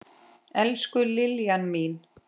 Elsku Liljan mín.